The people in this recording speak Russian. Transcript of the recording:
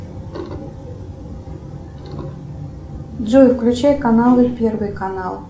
джой включай каналы первый канал